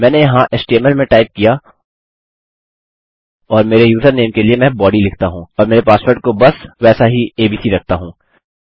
मैंने यहाँ एचटीएमएल में टाइप किया और मेरे यूजरनेम के लिए मैं बॉडी लिखता हूँ और मेरे पासवर्ड को बस वैसा ही एबीसी रखता हूँ